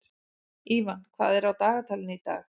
Ívan, hvað er á dagatalinu í dag?